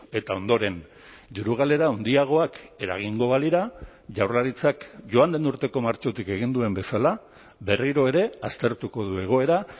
eta ondoren diru galera handiagoak eragingo balira jaurlaritzak joan den urteko martxotik egin duen bezala berriro ere aztertuko du egoera